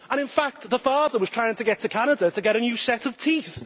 In fact, the father was trying to get to Canada to get a new set of teeth!